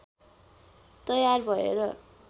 तयार भएर